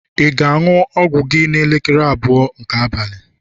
ị ga-aṅụ ọgwụ gị n'elekere abụọ nke abalị?